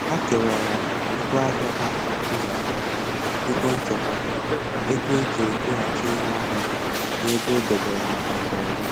Ha kewara ego ahịa ha ụzọ atọ: ego nchekwa, ego eji egoghachite ihe ahịa, na ego e dobere maka mberede